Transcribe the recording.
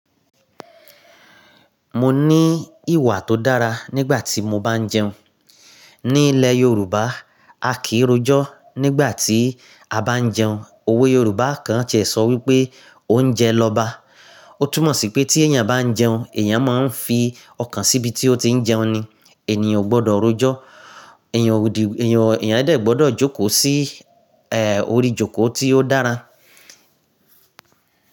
Mo ní ìwà tó dára nígbà tí mo bá ń jẹun. Ní ilẹ̀ Yorùbá, a kìí rojọ́ nígbà tí a bá ń jẹun. Òwe Yorùbá kan ti ẹ̀ sọ wípé oúnjẹ lọba. Ó túmọ̀ sí pé tí èèyàn bá ń jẹun, èèyàn máa ń fi ọkàn síbi tí ó ti ń jẹun ni. Ènìyàn ò gbọdọ̀ rojọ́. Èèyàn di, èèyàn, èèyàn dẹ̀ gbọdọ̀ jókòó sí, ẹ, orí ìjókòó tí ó dára.